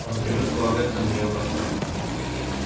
он привык полагаться на нее во всем